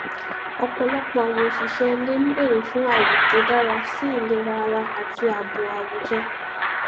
ọpọlọpọ àwọn òṣìṣẹ ilé n bèrè fún àyè tó dára sí ìlera ara àti ààbò àwùjọ